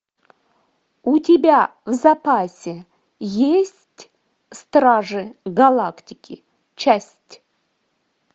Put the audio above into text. у тебя в запасе есть стражи галактики часть